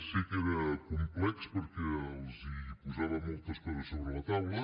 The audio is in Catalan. sé que era complex perquè els posava moltes coses sobre la taula